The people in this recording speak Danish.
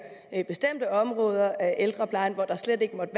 bestemte områder af ældreplejen hvor der slet ikke måtte